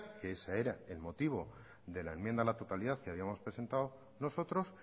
que ese era el motivo de la enmienda a la totalidad que habíamos presentado nosotros